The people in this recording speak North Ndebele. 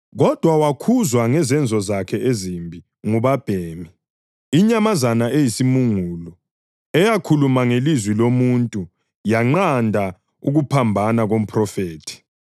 Kodwa wakhuzwa ngezenzo zakhe ezimbi ngubabhemi, inyamazana eyisimungulu, eyakhuluma ngelizwi lomuntu yanqanda ukuphambana komphrofethi.